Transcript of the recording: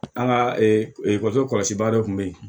An ka kɔso kɔlɔsi ba dɔ tun bɛ yen